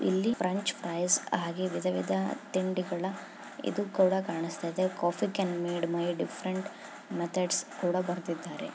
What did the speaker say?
ಇಲ್ಲಿ French fries ಹಾಗೆ ವಿಧ ವಿಧವಾದ ತಿಂಡಿಗಳ ಇದು ಕೂಡ ಕಾಣಸ್ತಾಯ್ದೆ. Coffee can made by different methods ಕೂಡ ಬರ್ದಿದ್ದಾರೆ.